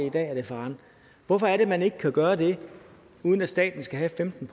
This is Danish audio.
i dag er det faren hvorfor er det man ikke kan gøre det uden at staten skal have femten